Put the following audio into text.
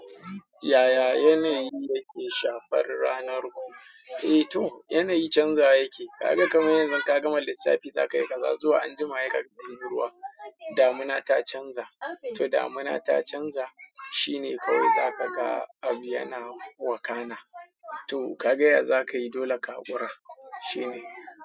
Yaya yanayi yake shafar ranar ku? Eh to, yanayi canzawa yakeyi. Kaga kamar yanzun ka gama lissafi za ka yi kaza zuwa anjima sai kaga an yi ruwa. Damuna ta canza. To damuna ta canza shine kawai za ka ga abu yana wakana. To, ka ga ya za ka yi dole ka haƙura, shine.